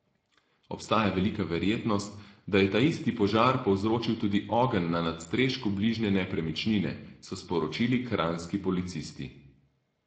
Obstaja velika verjetnost, da je taisti požar povzročil tudi ogenj na nadstrešku bližnje nepremičnine, so sporočili kranjski policisti.